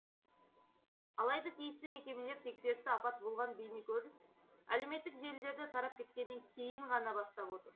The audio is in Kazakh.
алайда тиісті мекемелер тексерісті апат болған бейнекөрініс әлеуметтік желілерде тарап кеткеннен кейін ғана бастап отыр